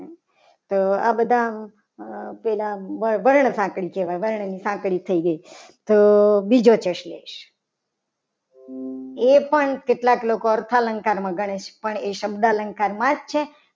તો આ બધા પહેલા વર્ણ સાંકળી કહેવાય. વર્ણની સાંકળી થઈ ગઈ. તો બીજો પ્રશ્ન લઈશ. એ પણ કેટલાક લોકો અર્થ અલંકારમાં ગણે છે. એ શબ્દ અલંકારમાં જ છે.